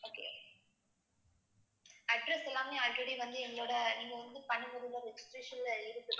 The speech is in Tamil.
address எல்லாமே already வந்து எங்களோட நீங்க வந்து பண்ணி முடிஞ்ச register ல இருக்கு ma'am